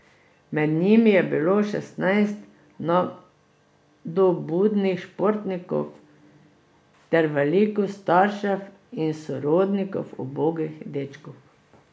Med njimi je bilo šestnajst nadobudnih športnikov ter veliko staršev in sorodnikov ubogih dečkov.